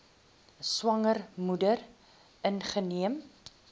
swanger moeder ingeneem